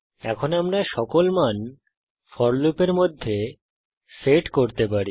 এখন আমরা সকল মান ফোর লুপের মধ্যে সেট করতে পারি